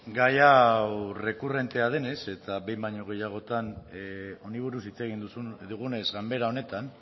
gai hau errekurrentea denez eta behin baino gehiagotan honi buruz hitz egin dugunez ganbera honetan